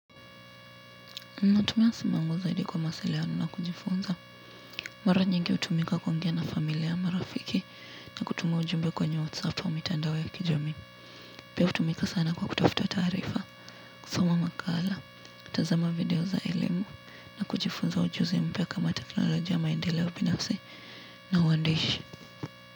Natumia simu yangu zaidi kwa mawasiliano na kujifunza. Mara nyingi hutumika kuongea na familia marafiki na kutumia ujumbe kwenye whatsappo au mitandao kijamii. Pia hutumika sana kwa kutafuta taarifa, kusoma makala, kutazama video za elimu na kujifunza ujuzi mpya kama teknolojia maendelea ubinasi na uandishi.